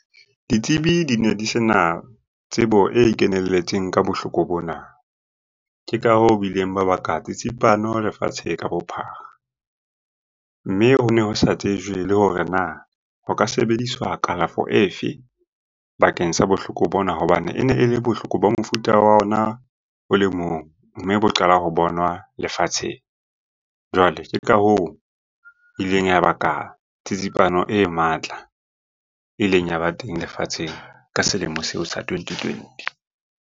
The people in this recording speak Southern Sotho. Ditsebi di ne di se na tsebo e kenelletseng ka bohloko bona. Ke ka hoo ba ileng ba baka tsitsipano lefatshe ka bophara. Mme ho ne ho sa tsejwe le hore na ho ka sebediswa kalafo efe bakeng sa bohloko bona hobane e ne e le bohloko bo mofuta wa ona o le mong, mme bo qala ho bona lefatsheng. Jwale ke ka hoo e ileng ya baka tsitsipano e matla e ileng ya ba teng lefatsheng ka selemo seo sa twenty twenty.